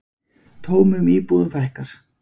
Tómum íbúðum fækkar